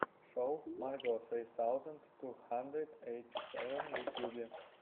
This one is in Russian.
шоу марго сри саузэнд ту хандрэд ейти сэвэн в ютюбе